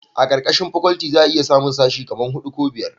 a karkashin fakwalti za a iya samun sashi kaman hudu ko biyar